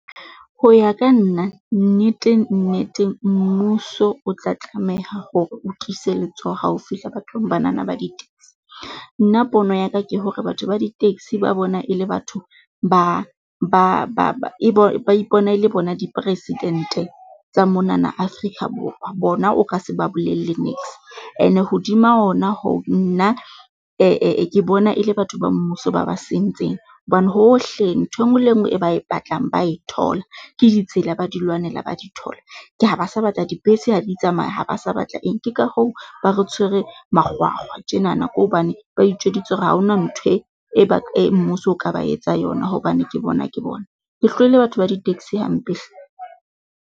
Ho ya ka nna nnete nnete mmuso o tla tlameha hore o tiise letsoho hao fihla bathong banana ba di-taxi. Nna pono ya ka ke hore batho ba di-taxi ba bona e le batho ba ba e bo ba ipona e le bona dipresidente tsa monana Afrika Borwa. Bona o ka se ba bolella niks ene hodima ona hoo nna ke bona e le batho ba mmuso ba ba sentseng hobane hohle ntho enngwe le enngwe e ba e batlang ba e thola. Ke ditsela, ba di lwanela, ba di thola, ke ha ba sa batla dibese ha di tsamaya ha ba sa batla eng. Ke ka hoo ba re tshwereng makgwakgwa tjenana ke hobane ba itjweditse hore ha hona ntho e, e ba e ba mmuso o ka ba etsa yona hobane ke bona ke bona. Ke hlohile batho ba di-taxi hampe hle.